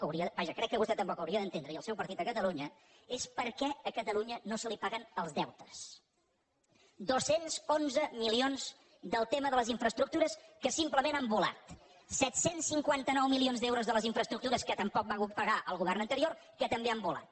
vaja crec que vostè tampoc ho hauria d’entendre i el seu partit a catalunya és per què a catalunya no se li paguen els deutes dos cents i onze milions del tema de les infraestructures que simplement han volat set cents i cinquanta nou milions d’euros de les infraestructures que tampoc va pagar el govern anterior que també han volat